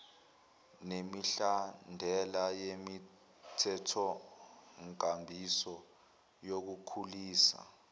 nemihlahlandela yemithethonkambiso yokukhulisa